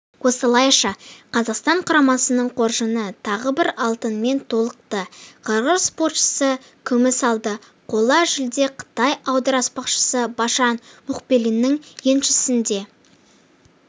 осылайша қазақстан құрамасының қоржыны тағы бір алтынмен толықты қырғыз спортшысы күміс алды қола жүлде қытай аударыспақшысы башан мухбилинің еншісінде